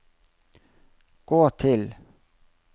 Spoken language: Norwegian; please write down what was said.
gå til